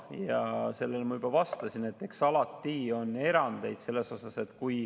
Ja sellele ma juba vastasin, et alati on erandeid.